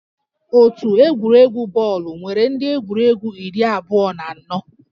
Otu egwuregwu bọọlụ nwere ndị egwuregwu iri abụọ na anọ